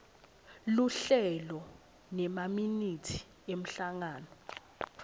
luhlelo nemaminithi emhlangano